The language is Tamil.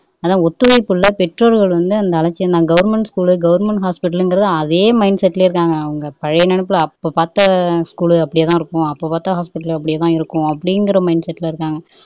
அதான் ஒத்துழைப்பு இல்ல பெற்றோர்கள் வந்து அந்த அலட்சியம்தான் கவரண்மென்ட் ஸ்கூல் கவர்ன்மெண்ட் ஹாஸ்பிட்டல்ங்கிற அதே மைண்ட்செட்ல இருக்காங்க அவங்க பழைய நினைப்புல அப்போ பாத்த ஸ்கூல் அப்படியேதான் இருக்கும் அப்போ பாத்த ஹாஸ்பிட்டல் அப்படியேதான் இருக்கும் அப்படிங்கிற மைண்ட்செட்ல இருக்காங்க